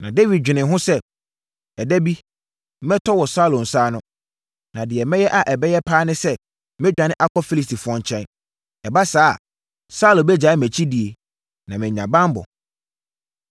Na Dawid dwenee ho sɛ, “Ɛda bi, mɛtɔ wɔ Saulo nsa ano. Na deɛ mɛyɛ a ɛbɛyɛ pa ara ne sɛ, mɛdwane akɔ Filistifoɔ nkyɛn. Ɛba saa a, Saulo bɛgyae mʼakyi die na mɛnya banbɔ.”